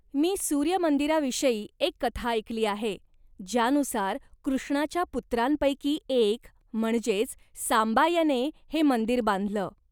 मी सूर्य मंदिराविषयी एक कथा ऐकली आहे ज्यानुसार कृष्णाच्या पुत्रांपैकी एक म्हणजेच सांबा याने हे मंदिर बांधलं.